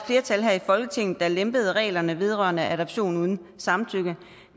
flertal her i folketinget der lempede reglerne vedrørende adoption uden samtykke